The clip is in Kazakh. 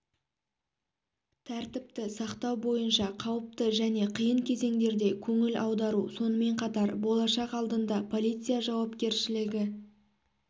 тәртіпті сақтау бойынша қауіпті және қиын кезеңдерде көңіл аудару сонымен қатар болашақ алдында полиция жауапкершілігі